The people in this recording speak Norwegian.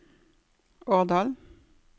Årdal